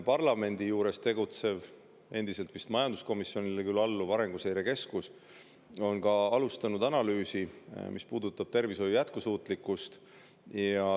Parlamendi juures tegutsev ja vist endiselt majanduskomisjonile alluv Arenguseire Keskus on alustanud analüüsi, mis puudutab tervishoiu jätkusuutlikkust.